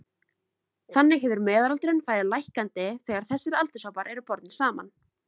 Þannig hefur meðalaldurinn farið lækkandi þegar þessir aldurshópar eru bornir saman.